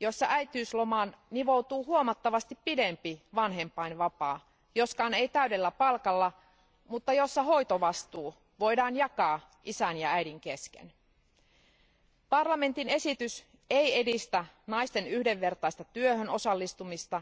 joissa äitiyslomaan nivoutuu huomattavasti pidempi vanhempainvapaa joskaan ei täydellä palkalla mutta jossa hoitovastuu voidaan jakaa isän ja äidin kesken. Euroopan parlamentin esitys ei edistä naisten yhdenvertaista työhön osallistumista,